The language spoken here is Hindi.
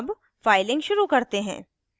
अब फाइलिंगशुरू करते हैं